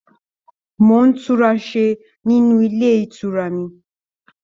Mo tunrasé nínú ilé ìtura mí.